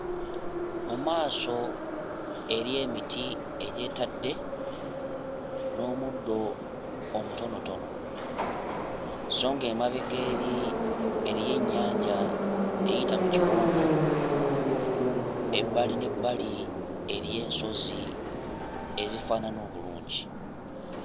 Mu maaso eriyo emiti egy'etadde n'omuddo omutontono, sso ng'emabega eri eriyo ennyanja eyita mu kiwonvu, ebbali n'ebbali eriyo ensozi ezifaanana obulungi.